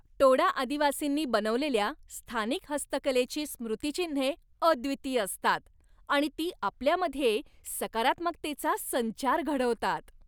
टोडा आदिवासींनी बनवलेल्या स्थानिक हस्तकलेची स्मृतीचिन्हे अद्वितीय असतात आणि ती आपल्यामध्ये सकारात्मकतेचा संचार घडवतात.